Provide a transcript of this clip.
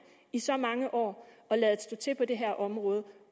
i så mange år og ladet stå til på det her område